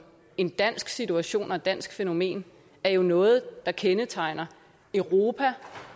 en dansk situation og et dansk fænomen er jo noget der særlig kendetegner europa